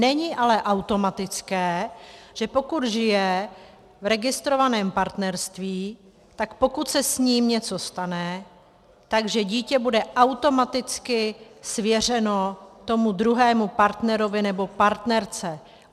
Není ale automatické, že pokud žije v registrovaném partnerství, tak pokud se s ním něco stane, tak dítě bude automaticky svěřeno tomu druhému partnerovi nebo partnerce.